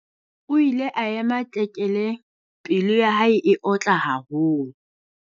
O ile a ema tlekele! Pelo ya hae e otla haholo.